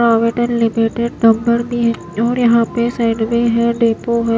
और यहां पे साइड में है डिपो है।